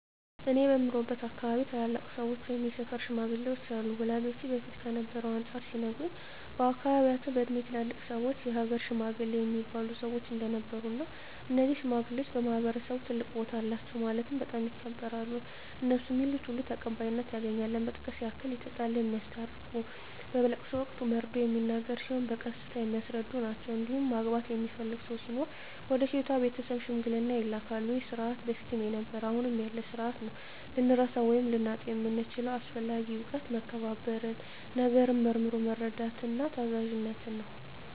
እኔ በምኖርበት አካባቢ ታላላቅ ሰዎች ወይም የሰፈር ሽማግሌዎች አሉ ወላጆቼ በፊት ከነበረው አንፃር ሲነግሩኝ በአካባቢያቸው በእድሜ ትላልቅ ሰዎች የሀገር ሽማግሌ እሚባሉ ሰዎች እንደነበሩ እና እነዚህ ሽማግሌዎች በማህበረሰቡ ትልቅ ቦታ አላቸው ማለትም በጣም ይከበራሉ እነሡ ሚሉት ሁሉ ተቀባይነት ያገኛል ለመጥቀስ ያክል የተጣላ የሚያስታርቁ በለቅሶ ወቅት መርዶ ሚነገር ሲሆን በቀስታ የሚያስረዱ ናቸዉ እንዲሁም ማግባት የሚፈልግ ሰው ሲኖር ወደ ሴቷ ቤተሰብ ሽምግልና ይላካሉ ይህ ስርዓት በፊትም ነበረ አሁንም ያለ ስርአት ነው። ልንረሳው ወይም ልናጣው የምንችለው አስፈላጊ እውቀት መከባበርን፣ ነገርን መርምሮ መረዳትን፣ ታዛዝነትን ነው።